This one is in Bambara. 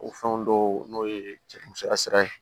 O fɛnw dɔw n'o ye musoya sira ye